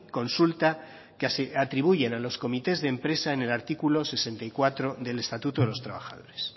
consulta que se atribuyen a los comités de empresa en el artículo sesenta y cuatro del estatuto de los trabajadores